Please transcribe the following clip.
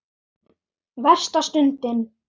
Versta stundin?